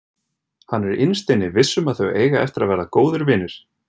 Hann er innst inni viss um að þau eiga eftir að verða góðir vinir.